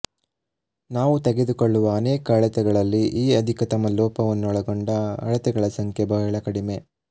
ನಾವು ತೆಗೆದುಕೊಳ್ಳುವ ಅನೇಕ ಅಳತೆಗಳಲ್ಲಿ ಈ ಅಧಿಕತಮ ಲೋಪವನ್ನೊಳಗೊಂಡ ಅಳತೆಗಳ ಸಂಖ್ಯೆ ಬಹಳ ಕಡಿಮೆ